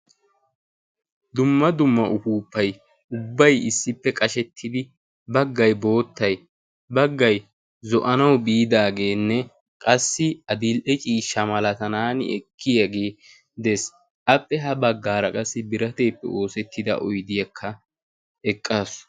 dumma dumma upuuppay ubbay issippe qashettidi baggay boottay baggay zo'anau biidaageenne qassi adil"e ciishsha malatanaani ekkiyaagee dees. appe ha baggaara qassi birateeppe oosettida oidiyakka eqqaasu.